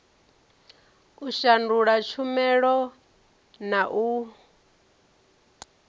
u shandula tshumela na u